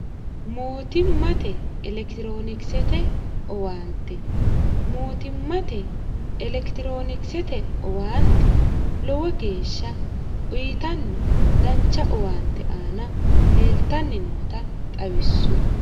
mootimmate elekitiroonikisete owaante mootimmate elekitiroonikisete owaante lowo geeshsha uyitanni dancha owaante aana leeltanni noota xawissu